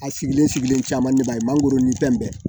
A sigilen sigilen caman de b'a ye mangoro ni fɛn bɛɛ